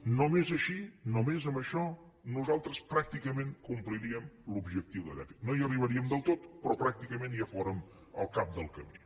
només així només amb això nosaltres pràcticament complirien l’objectiu de dèficit no hi arribaríem del tot però pràcticament ja fórem al cap del camí